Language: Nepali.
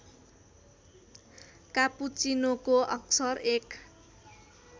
कापुचीनोको अक्सर एक